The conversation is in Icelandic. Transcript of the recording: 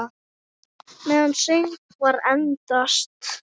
Meðan söngvar endast